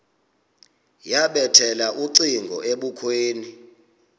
yabethela ucingo ebukhweni